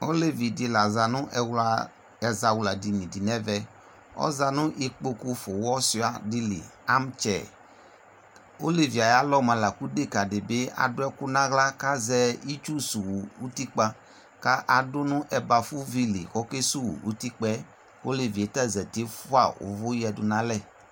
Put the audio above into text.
Olevi di la za nʋ ɛwla ɛzawladini di nɛvɛ Ɔza nʋ ikpokufʋwɔsua di li, amtsɛɛ Olevi e ayalɔ moa la kʋ deka di bi adʋ ɛkʋ n'aɣla kʋ azɛ itsu suwu utikpa kʋ adʋ nʋ ɛbafuvi li kʋ okesuwu utikpa ɛ Olevi ta zati, fua ʋvʋ yadu nalɛ